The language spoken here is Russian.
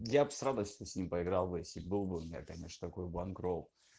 я бы с радостью с ним поиграл бы если был бы у меня конечно такое банкролл